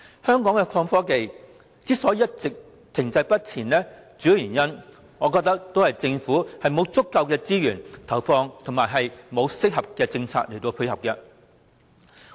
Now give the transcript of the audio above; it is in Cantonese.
香港的創新科技之所以一直停滯不前，主要的原因是政府沒有投放足夠的資源，也沒有推出適當的政策配合。